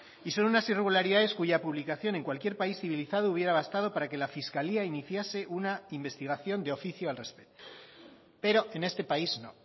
y son unas irregularidades cuya publicación en cualquier país civilizado hubiera bastado para que la fiscalía iniciase una investigación de oficio al respeto pero en este país no